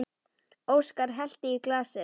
Óskar hellti í glasið.